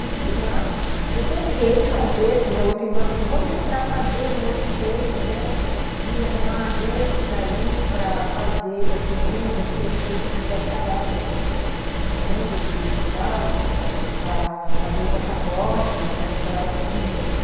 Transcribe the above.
E de lá, eu tentei fazer, que a minha outra irmã falou assim, vamos tentar fazer um outro jeito, né, de arrumar agências aí para fazer, assim, renda, não sei o quê, porque a gente tinha que declarar, né, rendas e tal, para fazer o passaporte com declaração de rendas.